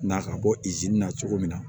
Na ka bɔ na cogo min na